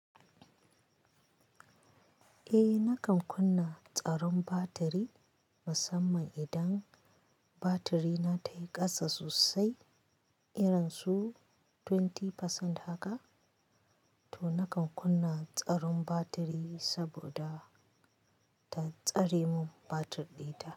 Eh nakan kunna tsaron batiri musamman idan batiri na tayi ƙasa sosai irin su 20% haka to nakan kunna tsaron batiri saboda ta tsare mun batir ɗina.